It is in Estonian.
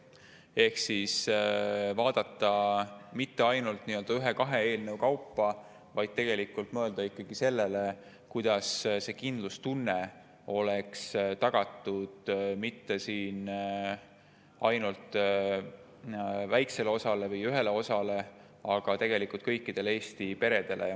Ehk siis ei peaks vaatama mitte ainult ühe-kahe eelnõu kaupa, vaid tegelikult tuleks mõelda ikkagi sellele, kuidas kindlustunne oleks tagatud mitte ainult ühele väikesele osale, vaid kõikidele Eesti peredele.